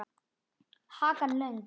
Hakan löng.